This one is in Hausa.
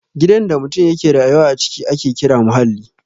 Gidan da mutum ya ke rayuwa a ciki ake kira muhalli